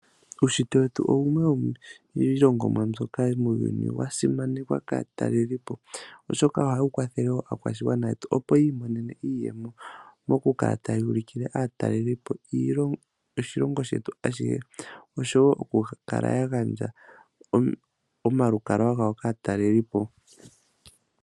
Uushitwe wetu owuna iilongomwa mbyoka muuyuni ya simanekwa kaatalelipo oshoka ohayi kwathe aakwashigwana yetu opo yi imonene iiyemo momukala taya ulikile aatalelipo oshilongo shetu ashihe, oshowo okukala ya gandja omalukalwa gawo kaataleliopo.